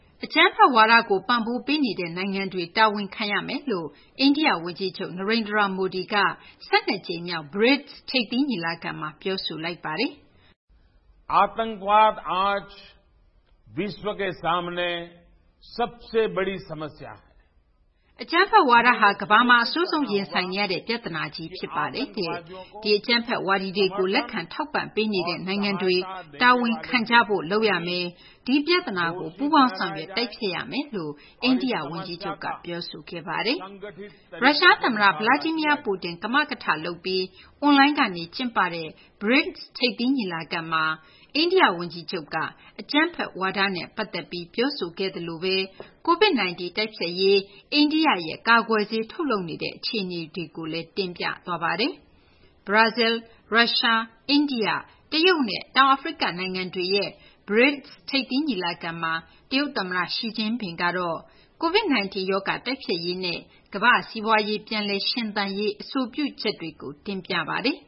အကြမ်းဖက်ဝါဒကို ပံ့ပိုးပေးနေတဲ့ နိုင်ငံတွေ တာဝန်ခံရမယ်လို့ အိန္ဒိယ ဝန်ကြီးချုပ် Narendra Modi က ၁၂ ကြိမ်မြောက် BRICS ထိပ်သီး ညီလာခံမှာ ပြောဆိုလိုက်ပါတယ်။ “အကြမ်းဖက် ဝါဒဟာ ကမ္ဘာမှာ အဆိုးဆုံး ရင်ဆိုင်နေရတဲ့ ပြသနာကြီး ဖြစ်ပါတယ်တဲ့။ အကြမ်းဖက် ဝါဒီတွေကို လက်ခံ ပံ့ပိုး နေတဲ့ နိုင်ငံတွေကို တာဝန်ခံကြဖို့ လုပ်ရမယ်၊ ဒီပြဿနာကို ပူးပေါင်းဆောင်ရွက် တိုက်ဖျက်ရမယ်” လို့ အိန္ဒိယ ဝန်ကြီးချုပ်က ပြောဆိုခဲ့ပါတယ်။ ရုရှား သမ္မတ Vladimir Putin ကမကထလုပ်ပြီး အွန်လိုင်းကနေ ကျင်းပတဲ့ BRICS ထိပ်သီး ညီလာခံမှာ အိန္ဒိယ ဝန်ကြီးချုပ်က အကြမ်းဖက် ဝါဒနဲ့ ပတ်သက်ပြီး ပြောခဲ့သလိုဘဲ COVID -19 တိုက်ဖျက်ရေး အိန္ဒိယရဲ့ ကာကွယ်ဆေး ထုတ်လုပ်နေတဲ့ အခြေအနေတွေကိုလည်း ပြောဆို သွားပါတယ်။ ဘရာဇီးလ်၊ ရုရှား၊ အိန္ဒိယ၊ တရုတ်နဲ့ တောင်အာဖရိက နိုင်ငံတွေရဲ့ BRICS ထိပ်သီး ညီလာခံမှာ တရုတ်သမ္မတ Xi Jinping က COVID-19 ရောဂါ တိုက်ဖျက်ရေးနဲ့ ကမ္ဘာ့စီးပွားရေး ပြန်လည် ရှင်သန်ရေး အဆိုပြုချက်တွေကို တင်ပြခဲ့ပါတယ်။